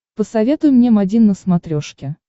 посоветуй мне м один на смотрешке